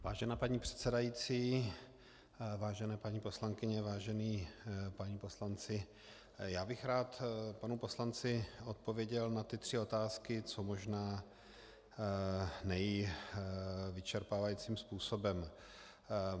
Vážená paní předsedající, vážené paní poslankyně, vážení páni poslanci, já bych rád panu poslanci odpověděl na ty tři otázky co možná nejvyčerpávajícím způsobem.